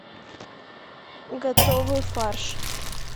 готовый фарш